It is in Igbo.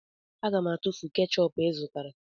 Aga m atụfu kechọpụ ị zụtara